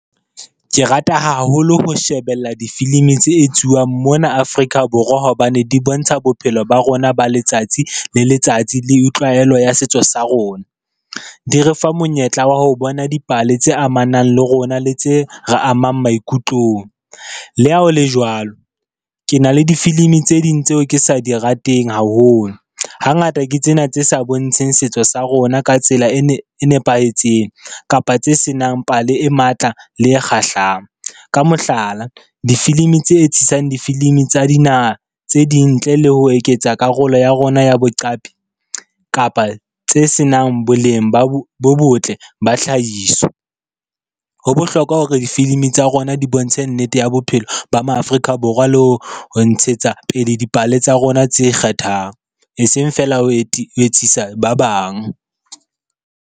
Ke rata haholo ho shebella difilimi tse etsuwang mona Afrika Borwa hobane di bontsha bophelo ba rona ba letsatsi le letsatsi le tlwaelo ya setso sa rona. Di re fa monyetla wa ho bona dipale tse amanang le rona le tse re amang maikutlong. Le ha ho le jwalo, ke na le difilimi tse ding tseo ke sa di rateng haholo, hangata ke tsena tse sa bontsheng setso sa rona ka tsela e nepahetseng, kapa tse senang pale e matla le e kgahlang. Ka mohlala, difilimi tse etsisang difilimi tsa dinaha tse ding ntle le ho eketsa karolo ya rona ya boqapi kapa tse senang boleng bo botle ba tlhahiso. Ho bohlokwa hore difilimi tsa rona di bontshe nnete ya bophelo ba ma Afrika Borwa le ho ntshetsa pele dipale tsa rona tse ikgethang, e seng fela ho etsisa ba bang.